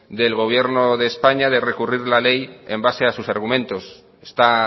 del gobierno de españa de recurrir la ley en base a sus argumentos está